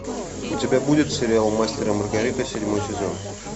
у тебя будет сериал мастер и маргарита седьмой сезон